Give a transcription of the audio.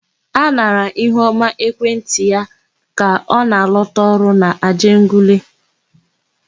A nara Ihuọma ekwentị ya ka ọ na-alọta ọrụ n'Ajegunle.